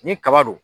Ni kaba don